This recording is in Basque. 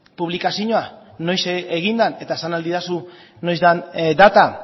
publikazioa noiz egin den eta esan ahal didazu noiz den data